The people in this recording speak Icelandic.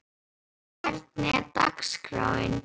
Fólki, hvernig er dagskráin?